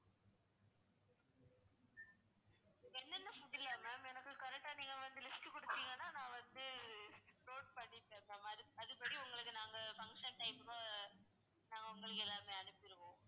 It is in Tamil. என்னென்ன food இல்ல ma'am எனக்கு correct ஆ நீங்க வந்து list குடுத்தீங்கன்னா நான் வந்து note பண்ணிப்பேன் ma'am அது~ அதுபடி உங்களுக்கு நாங்க function time ல நாங்க உங்களுக்கு எல்லாமே arrange பண்ணி குடுப்போம்.